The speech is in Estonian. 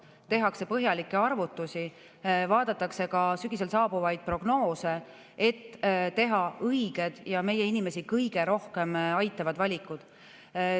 Tehakse põhjalikke arvutusi, vaadatakse ka sügisel saabuvaid prognoose, et teha õiged ja meie inimesi kõige rohkem aitavad valikud.